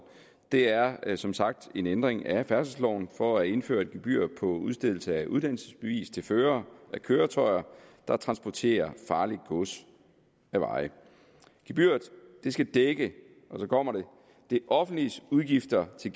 det er er som sagt en ændring af færdselsloven for at indføre et gebyr på udstedelse af uddannelsesbevis til førere af køretøjer der transporterer farligt gods ad vej gebyret skal dække og så kommer det det offentliges udgifter til